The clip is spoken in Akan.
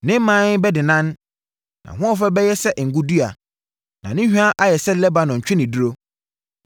ne mman bɛdennan. Nʼahoɔfɛ bɛyɛ sɛ ngo dua, na ne hwa ayɛ sɛ Lebanon ntweneduro.